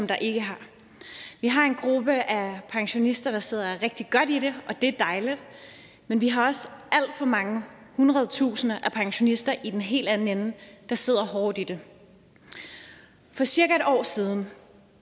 der ikke har vi har en gruppe af pensionister der sidder rigtig godt i det og det er dejligt men vi har også alt for mange hundredtusinder af pensionister i den helt anden ende der sidder hårdt i det for cirka en år siden